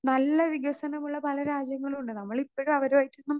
Speaker 2 നല്ല വികസനമുള്ള പല രാജ്യങ്ങളും ഉണ്ട്. നമ്മൾ ഇപ്പഴും അവരുമായിട്ടൊന്നും